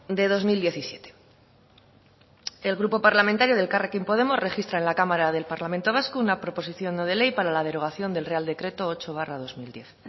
de dos mil diecisiete el grupo parlamentario de elkarrekin podemos registra en la cámara del parlamento vasco una proposición no de ley para la derogación del real decreto ocho barra dos mil diez